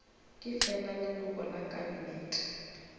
ke fela leloko la kabinete